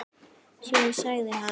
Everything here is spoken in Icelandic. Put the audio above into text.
Síðan sagði hann